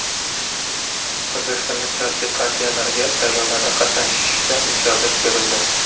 O‘zbekistonda siyosiy partiyalarga saylovlarda qatnashishiga ijozat berildi.